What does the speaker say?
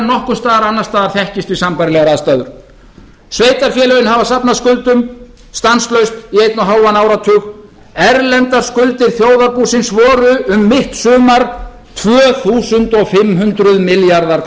nokkurs staðar annars staðar þekkist við sambærilegar aðstæður sveitarfélögin hafa safnað skuldum stanslaust í einn og hálfan áratug erlendar skuldir þjóðarbúsins voru um mitt sumar tvö þúsund fimm hundruð milljarðar króna